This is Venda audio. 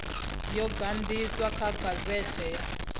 yo ganiswa kha gazete ya